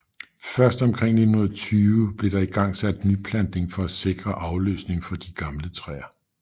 Først omkring 1920 blev der igangsat nyplantning for at sikre afløsning for de gamle træer